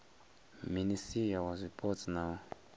minisia wa zwipotso na u